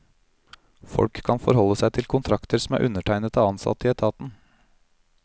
Folk kan forholde seg til kontrakter som er undertegnet av ansatte i etaten.